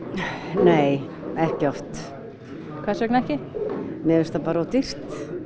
nei ekki oft hvers vegna ekki mér finnst það bara of dýrt